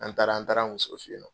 An taara an taara muso fe yen.